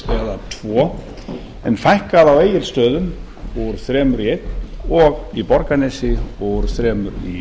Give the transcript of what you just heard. eða tvö en fækkað á egilsstöðum úr þremur í eins og í borgarnesi úr þremur í